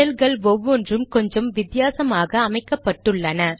ஷெல்கள் ஒவ்வொன்றும் கொஞ்சம் வித்தியாசமாக அமைக்கப்பட்டுள்ளன